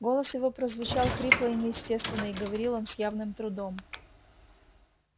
голос его прозвучал хрипло и неестественно и говорил он с явным трудом